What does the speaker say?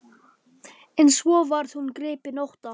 En svo varð hún gripin ótta.